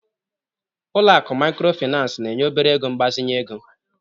Ụlọ akụ Mikrofinas na-enye obere ego mgbazinye ego.